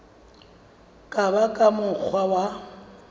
ka ba ka mokgwa wa